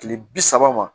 Kile bi saba ma